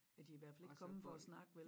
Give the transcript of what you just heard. Ja de i hvert fald ikke kommet for at snakke vel